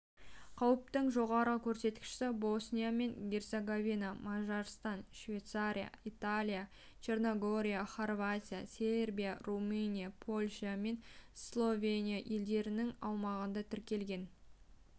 қауіптің жоғары көрсеткіші босния мен герцеговина мажарстан швейцария италия черногория хорватия сербия румыния польша мен словения елдерінің аумағында тіркелген